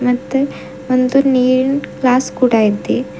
ಮತ್ತೆ ಒಂದು ನೀರಿನ್ ಗ್ಲಾಸ್ ಕೂಡ ಇದೆ.